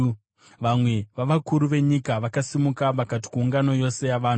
Vamwe vavakuru venyika vakasimuka vakati kuungano yose yavanhu,